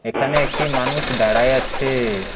এখানে একটি মানুষ দাঁড়ায় আছে।